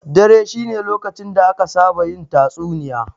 Dare shine lokacin da aka saba yin tatsuniya.